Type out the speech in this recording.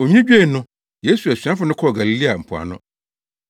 Onwini dwoe no, Yesu asuafo no kɔɔ Galilea mpoano.